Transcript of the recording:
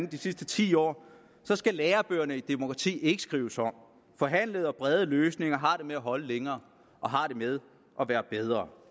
de sidste ti år skal lærebøgerne i demokrati ikke skrives om forhandlede og brede løsninger har det med at holde længere og har det med at være bedre